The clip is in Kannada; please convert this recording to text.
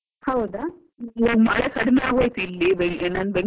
ಈಗ ಮಳೆ ಕಡಿಮೆಯಾಗ್ ಹೋಯಿತು ಇಲ್ಲಿ, ನಾನು Bangalore ಅಲ್ಲಿ ಇದ್ದೀನಿ.